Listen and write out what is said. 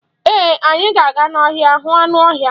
Ee, anyị ga-aga n'ọhịa hụ anụ ọhịa.